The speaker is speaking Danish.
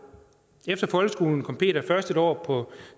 efter folkeskolen kom peter først et år på